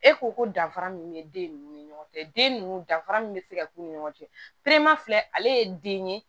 E ko ko danfara min bɛ den ninnu ni ɲɔgɔn cɛ den ninnu danfara min bɛ se ka k'u ni ɲɔgɔn cɛ filɛ ale ye den ye